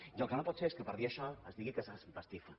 i el que no pot ser és que per dir això es digui que s’empastifa